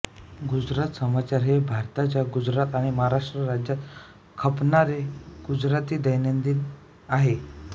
गुजरात समाचार हे भारताच्या गुजरात आणि महाराष्ट्र राज्यात खपणारे गुजराती दैनिक आहे